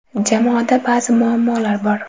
Jamoada ba’zi muammolar bor.